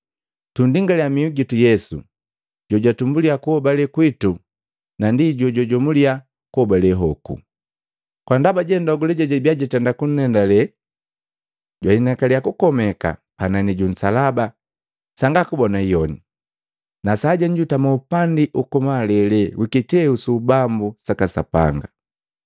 Tundingalya miu gitu Yesu jo jwatumbulisa kuhobale kwitu na ndi jojwijomuliya kuhobale hoku. Kwa ndaba jandogule jejabia jitenda kunndendale, jwahinakalya kukomeka panani ju nsalaba sanga kubona hiyone, na sajenu jutami upandi uku malele wi kiteu su ubambu saka Sapanga.